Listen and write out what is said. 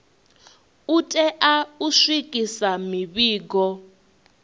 u tea u swikisa mivhigo